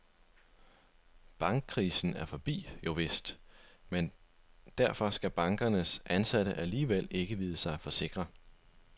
Bankkrisen er forbi, jovist, men derfor skal bankernes ansatte alligevel ikke vide sig for sikre.